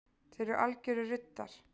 Þeir eru algjörir ruddar